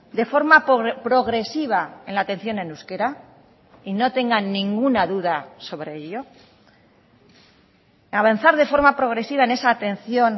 de forma progresiva en la atención en euskera y no tengan ninguna duda sobre ello avanzar de forma progresiva en esa atención